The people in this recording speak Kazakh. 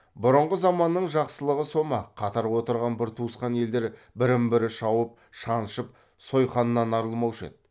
бұрынғы заманның жақсылығы со ма қатар отырған бір туысқан елдер бірін бірі шауып шаншып сойқаннан арылмаушы еді